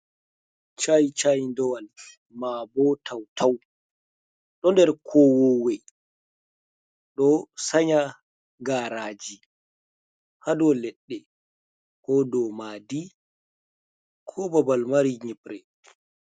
Chaichaidowal mabo tautau ɗo der kowowe ɗo sanya garaji hadou leɗɗe, ko do madi, ko babal mari nyipre.